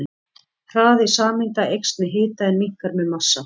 Hraði sameinda eykst með hita en minnkar með massa.